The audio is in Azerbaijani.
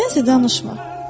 Sənsə danışma.